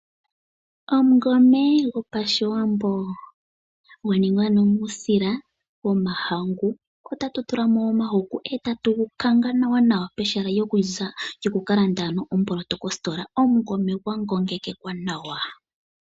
Omungome gopashiwambo gwa ningwa ano muusila womahangu. Otatu tulamo omahuku eta tu gu kanga nawa nawa ano peha lyoku kalanda omboloto kositola omungome gwa ngomekeka nawa.